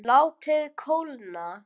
Látið kólna.